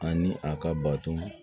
Ani a ka bato